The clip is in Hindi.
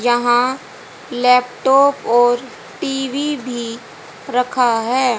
यहां लैपटॉप और टी_वी भी रखा है।